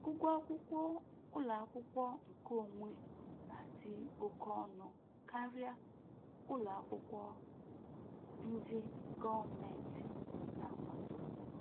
Ụgwọ akwụkwọ ụlọ akwụkwọ nkeonwe na-adị oke ọnụ karịa ụlọ akwụkwọ ndị gọọmentị na-akwado